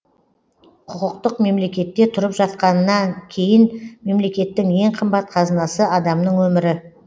құқықтық мемлекетте тұрып жатқаннан кейін мемлекеттің ең қымбат қазынасы адамның өмірі